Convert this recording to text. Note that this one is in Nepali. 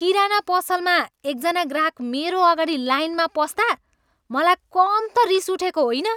किराना पसलमा एकजना ग्राहक मेरो अगाडि लाइनमा पस्दा मलाई कम त रिस उठेको होइन।